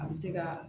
A bɛ se ka